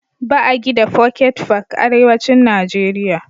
Ba a gida foket fak ( pocket parks) Arewacin Najeriya.